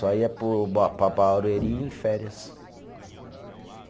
Só ia para o ba, para Barueri em férias.